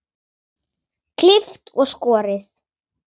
Klippt og skorið.